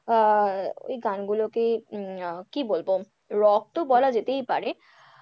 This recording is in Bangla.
আর ঐ গান গুলোকে উম কি বলবো rock তো বলা যেতেই পারে,